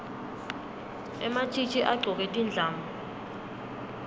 ematjitji agcoke tindlamu